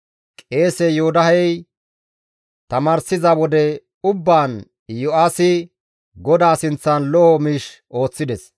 Qeese Yoodahey tamaarsiza wode ubbaan Iyo7aasi GODAA sinththan lo7o miish ooththides.